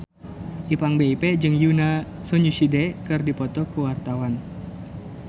Ipank BIP jeung Yoona SNSD keur dipoto ku wartawan